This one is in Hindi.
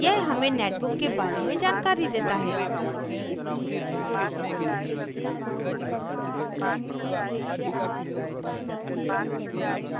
यह हमें netbook के बारे में जानकारी देता है